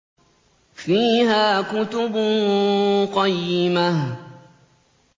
فِيهَا كُتُبٌ قَيِّمَةٌ